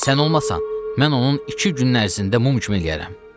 Sən olmasan, mən onun iki günün ərzində mum kimi eləyərəm.